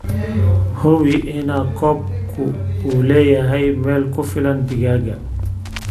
Hubi in coop-ku uu leeyahay meel ku filan digaagga.